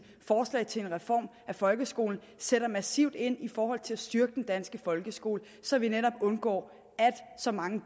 forslag til en reform af folkeskolen sætter massivt ind i forhold til at styrke den danske folkeskole så vi netop undgår at så mange